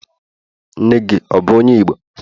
nne gi, ọ bu onye igbo?